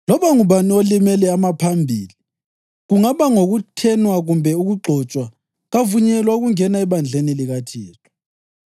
“Loba ngubani olimele amaphambili, kungaba ngokuthenwa kumbe ukugxotshwa kavunyelwa ukungena ebandleni likaThixo.